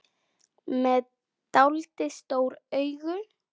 Með dáldið stór augu.